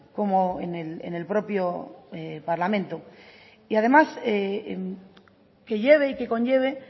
como en el propio parlamento y además que lleve y que conlleve